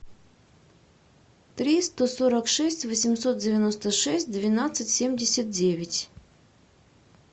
триста сорок шесть восемьсот девяносто шесть двенадцать семьдесят девять